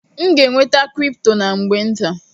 M ga-enweta kripto na mgbe nta.